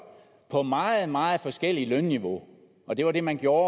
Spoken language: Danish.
på meget meget forskellige lønniveauer og det var det man gjorde